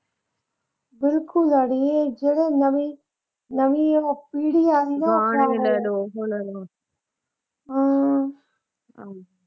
ਬਿਲਕੁੱਲ ਅੜੀਏ। ਜਿਹੜੇ ਨਵੇਂ ਨਵੀਂ ਇਹ ਪੀੜੀ ਆ ਗਈ ਨਾ ਅਮ